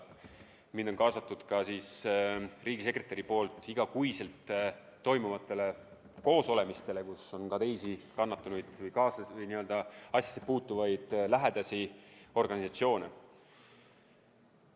Mind on kaasatud ka riigisekretäri juures iga kuu toimuvatele koosolekutele, kus on ka teisi kannatanuid ja nii-öelda asjasse puutuvaid lähedasi, organisatsioone.